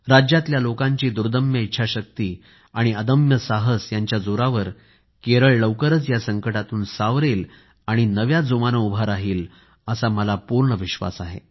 राज्यातल्या लोकांची दुर्दम्य इच्छाशक्ती आणि अदम्य साहस यांच्या जोरावर केरळ लवकरच या संकटातून सावरेल आणि नव्या जोमाने उभा राहील असा मला पूर्ण विश्वास आहे